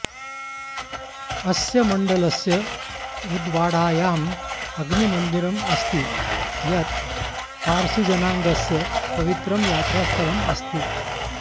अस्य मण्डलस्य उदवाडायाम् अग्निमन्दिरम् अस्ति यत् पार्सीजनाङ्गस्य पवित्रं यात्रास्थलम् अस्ति